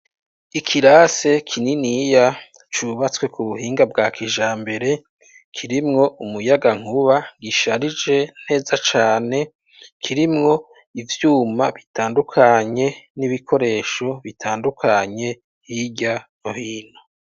Ikirase kininiya, cubatswe ku bubinga bwa kijambere, kirimwo umuyagankuba, gisharije neza cane; kirimwo ivyuma bitandukanye, n'ibikoresho bitandukanye, hirya no hino.